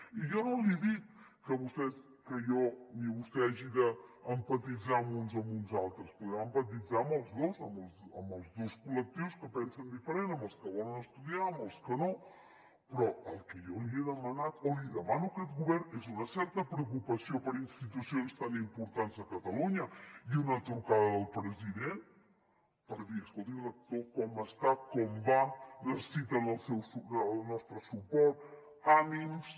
i jo no li dic que vostè o que ni jo ni vostè hàgim d’empatitzar amb uns o amb uns altres podem empatitzar amb els dos amb els dos col·lectius que pensen diferent amb els que volen estudiar amb els que no però el que jo li he demanat o li demano que a aquest govern és una certa preocupació per institucions tan importants de catalunya i una trucada del president per dir escolti rector com està com va necessiten el nostre suport ànims